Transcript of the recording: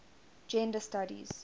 gender studies